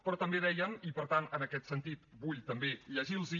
però també deien i per tant en aquest sentit vull també llegir los hi